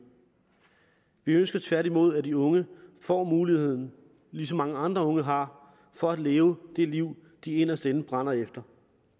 vi ønsker tværtimod at de unge får muligheden ligesom mange andre unge har for at leve det liv de inderst inde brænder efter